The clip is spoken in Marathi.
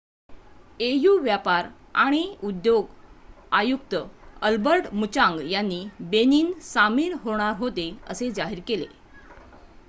au व्यापार आणि उद्योग आयुक्त अल्बर्ट मुचांग यांनी बेनिन सामील होणार होते असे जाहीर केले